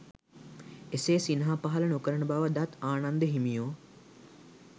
එසේ සිනහ පහළ නොකරන බව දත් ආනන්ද හිමියෝ